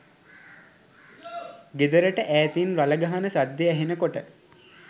ගෙදරට ඈතින් රළ ගහන සද්දෙ ඇහෙන කොට